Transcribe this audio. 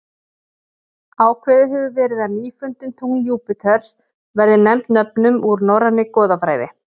Ákveðið hefur verið að nýfundin tungl Júpíters verði nefnd nöfnum úr norrænni goðafræði.